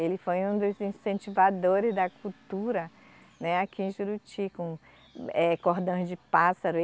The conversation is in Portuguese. Ele foi um dos incentivadores da cultura, né, aqui em Juruti, com cordões de pássaro.